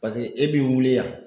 paseke e b'i wuli yan